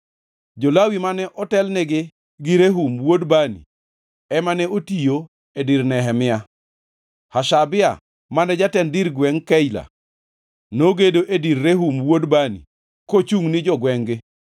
Jo-Lawi mane otelnigi gi Rehum wuod Bani ema ne otiyo e dir Nehemia. Hashabia mane jatend dir gwengʼ Keila nogedo e dir Rehum wuod Bani kochungʼ ni jogwengʼ-gi.